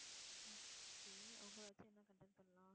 okay அவங்களை வச்சு என்ன content பண்ணலாம்